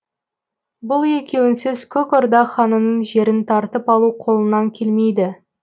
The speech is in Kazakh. бұл екеуінсіз көк орда ханының жерін тартып алу қолыңнан келмейді